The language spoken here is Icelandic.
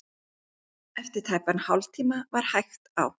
Eftir tæpan hálftíma var hægt á.